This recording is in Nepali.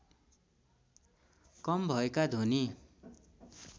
कम भएका ध्वनि